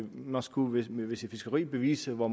man skulle med sit fiskeri bevise hvor